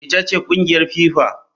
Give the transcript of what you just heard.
Ita ce kungiyar FIFA.